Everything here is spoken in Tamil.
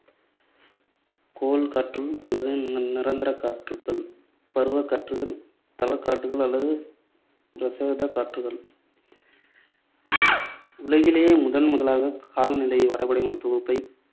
கோள் காற்றுகள் அல்லது நிரந்தர காற்றுகள், பருவக் காற்றுகள், தலக் காற்றுகள் அல்லது பிரதேசக் காற்றுகள் உலகிலேயே முதன் முதலாக காலநிலை வரைபடங்களின் தொகுப்பைத்